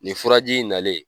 Nin furaji in nalen